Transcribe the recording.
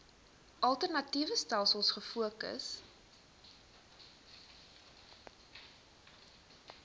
alternatiewe stelsels gefokus